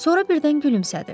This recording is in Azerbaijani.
Sonra birdən gülümsədi.